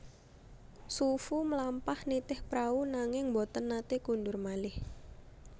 Xu Fu mlampah nitih prau nanging boten naté kundur malih